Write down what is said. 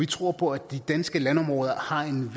tror på at de danske landområder har en